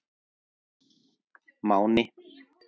Máni